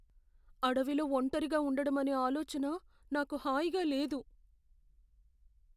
అడవిలో ఒంటరిగా ఉండడం అనే ఆలోచన నాకు హాయిగా లేదు.